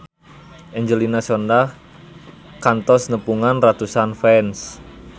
Angelina Sondakh kantos nepungan ratusan fans